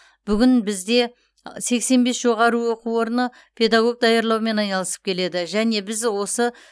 бүгін бізде сексен бес жоғары оқу орны педагог даярлаумен айналысып келеді және біз осы